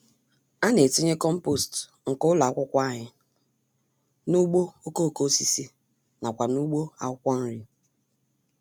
Ana-etinye kompost nke ụlọ akwụkwọ anyị n'ugbo okoko-osisi nakwa n'ugbo akwụkwọ nri.